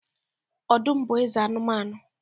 Ọdụm bu Eze anumanu